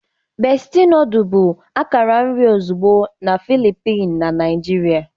Besti nodulu bụ akara nri ozugbo na Filippin na Naijiria.